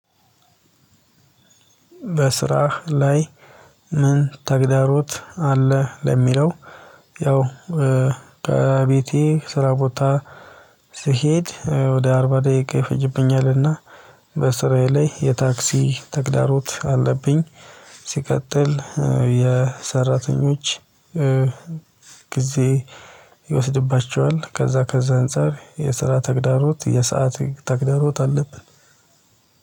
በስራህ ላይ ምን ተግዳሮት አለ? ለሚለው ያው ከቤቴ ስራ ቦታ ስሄድ ወደ አርባ ደቂቃ ይፈጅብኛልና። በስራዬ ላይ የታክሲ ተግዳሮት አለብኝ። ሲቀጥል የሰራተኞች ጊዜ ይወስድባቸዋል። ከዛ ከዛ አንፃር የስራ ተግዳሮት የሰዓት ተግዳሮት አለብን።